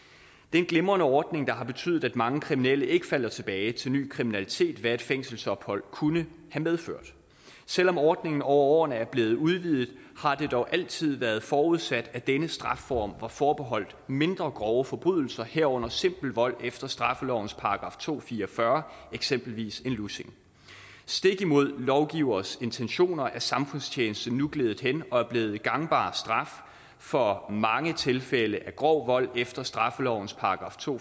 er en glimrende ordning der har betydet at mange kriminelle ikke falder tilbage til ny kriminalitet hvad et fængselsophold kunne have medført selv om ordningen over årerne er blevet udvidet har det dog altid været forudsat at denne strafform var forbeholdt mindre grove forbrydelser herunder simpel vold efter straffelovens § to hundrede og fire og fyrre eksempelvis en lussing stik imod lovgivers intentioner er samfundstjeneste nu gledet hen og er blevet en gangbar straf for mange tilfælde af grov vold efter straffelovens § to